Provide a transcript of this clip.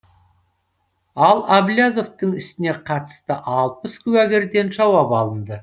ал әблязовтың ісіне қатысты алпыс куәгерден жауап алынды